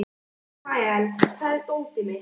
Ismael, hvar er dótið mitt?